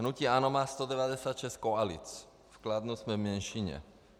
Hnutí ANO má 196 koalic, v Kladně jsme v menšině.